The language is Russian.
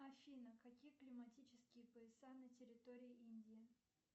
афина какие климатические пояса на территории индии